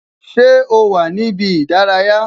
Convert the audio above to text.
Ṣé o wà ní ibi ìdárayá?